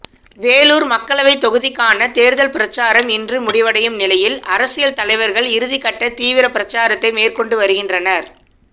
வேலூர் மக்களவைத் தொகுதிக்கான தேர்தல் பிரச்சாரம் இன்று முடிவடையும் நிலையில் அரசியல் தலைவர்கள் இறுதிகட்ட தீவிர பிரச்சாரத்தை மேற்கொண்டு வருகின்றனர்